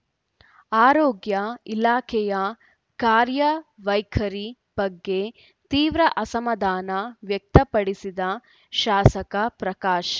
ಆರೋಗ್ಯ ಇಲಾಖೆಯ ಕಾರ್ಯ ವೈಖರಿ ಬಗ್ಗೆ ತೀವ್ರ ಅಸಮಾಧಾನ ವ್ಯಕ್ತ ಪಡಿಸಿದ ಶಾಸಕ ಪ್ರಕಾಶ್‌